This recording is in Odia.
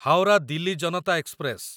ହାୱରା ଦିଲ୍ଲୀ ଜନତା ଏକ୍ସପ୍ରେସ